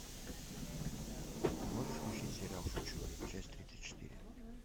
можешь включить сериал шучу часть тридцать четыре